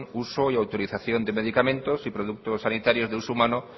uso y autorización de medicamente y productos sanitarios de uso humano